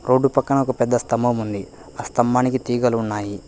Road పక్కన ఒక పెద్ద స్తంభం ఉంది ఆ స్తంభానికి తీగలు ఉన్నాయి.